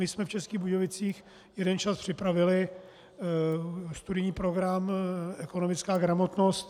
My jsme v Českých Budějovicích jeden čas připravili studijní program Ekonomická gramotnost.